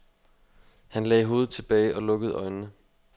Han lagde hovedet tilbage og lukkede øjnene.